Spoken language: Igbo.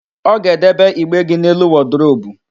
Ọ ga-edebe igbe gị n'elu wọdụrobu